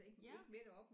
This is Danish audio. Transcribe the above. Ja